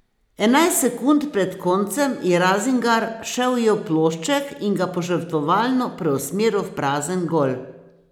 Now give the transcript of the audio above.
Enajst sekund pred koncem je Razingar še ujel plošček in ga požrtvovalno preusmeril v prazen gol.